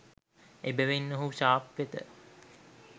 එබැවින් ඔහු ශාප් වෙත